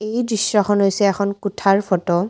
এই দৃশ্যখন হৈছে এখন কোঠাৰ ফটো ।